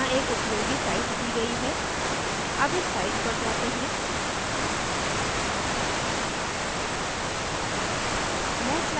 यहाँ एक उपयोगी site दी गयी है अब इस site पर जाते हैं